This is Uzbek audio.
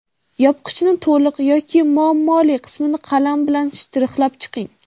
Yopqichni to‘liq yoki muammoli qismini qalam bilan shtrixlab chiqing.